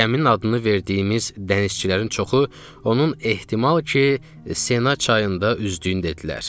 Gəminin adını verdiyimiz dənizçilərin çoxu onun ehtimal ki, Sena çayında üzdüyünü dedilər.